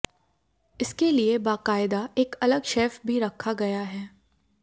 इसके लिए बाकायदा एक अलग शेफ भी रखा गया है